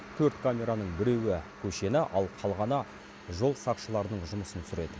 төрт камераның біреуі көшені ал қалғаны жол сақшыларының жұмысын түсіреді